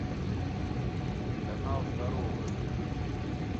канал здоровое